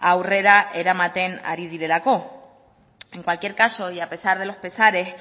aurrera eramaten ari direlako en cualquier caso y a pesar de los pesares